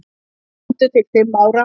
Sömdu til fimm ára